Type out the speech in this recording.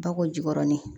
Bakɔ jikɔrɔnin